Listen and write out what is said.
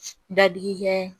Dadigikɛ